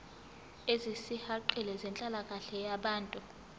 ezisihaqile zenhlalakahle yabantu